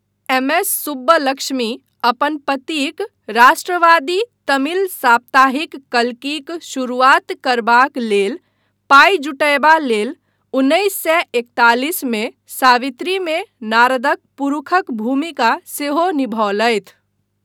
MS Subbulakshmi अपन पतिक राष्ट्रवादी तमिल साप्ताहिक कल्कीक शुरुआत करबाक लेल पाइ जुटयबा लेल उन्नैस सए एकतालिस मे सावित्रीमे नारदक पुरुखक भूमिका सेहो निभौलथि।